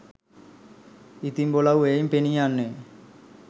ඉතින් බොලවු එයින් පෙනී යන්නේ